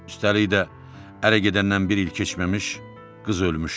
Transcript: Üstəlik də ərə gedəndən bir il keçməmiş qız ölmüşdü.